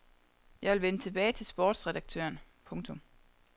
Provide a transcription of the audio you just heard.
Jeg vil vende tilbage til sportsredaktøren. punktum